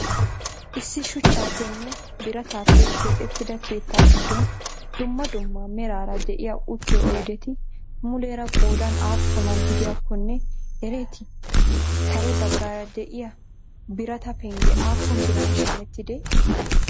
issi shuchchappenne biraatappe keexxettida keettaa giddon duummaa duummaa meraara de'iya uttiyo oydeti muleera qoodan appuna giddiyakkonne ereeti? kare baggara de'iya biraata pengge appun biran shameetidee?